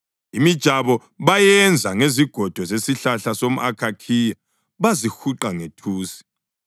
Imijabo bayenza ngezigodo zesihlahla somʼakhakhiya bazihuqa ngethusi.